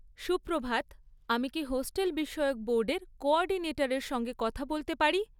সুপ্রভাত, আমি কি হস্টেল বিষয়ক বোর্ডের কোঅর্ডিনেটরের সঙ্গে কথা বলতে পারি?